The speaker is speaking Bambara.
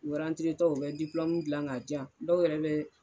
U arantire tɔ u bɛ dipilɔmu gilan ka jan dɔw yɛrɛ bɛ